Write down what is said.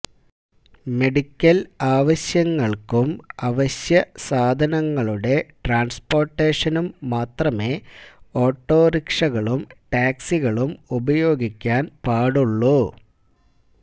medical ആവശ്യങ്ങള്ക്കും അവശ്യസാധനങ്ങളുടെ ട്രാന്സ്പോര്ട്ടേഷനും മാത്രമേ ഓട്ടോറിക്ഷകളും ടാക്സികളും ഉപയോഗിക്കാന് പാടുള്ളു